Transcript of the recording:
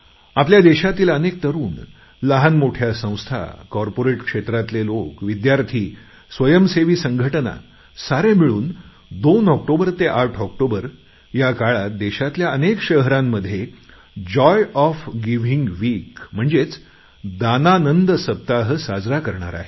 आपल्या देशातील अनेक तरुण लहानमोठ्या संस्था कॉर्पोरेट क्षेत्रातले लोक विद्यार्थीस्वयंसेवी संघटना सारे मिळून 2 ऑक्टोबर ते 8 ऑक्टोबर या काळात देशातल्या अनेक शहरांमध्ये जॉय ऑफ गिव्हिंग विक साजरा करणार आहेत